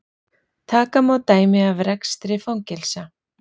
Taka má dæmi af rekstri fangelsa.